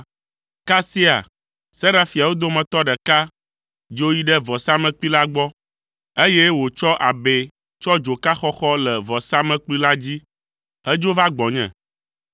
Kasia Serafiawo dometɔ ɖeka dzo yi ɖe vɔ̃samlekpui la gbɔ, eye wòtsɔ abɛ tsɔ dzoka xɔxɔ le vɔsamlekpui la dzi hedzo va gbɔnye.